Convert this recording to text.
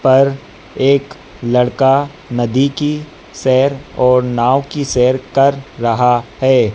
पर एक लड़का नदी की सैर और नाव की सैर कर रहा है।